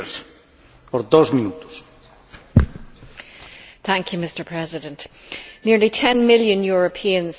Mr President, nearly 10 million Europeans suffer today from dementia, with Alzheimer's the most common form.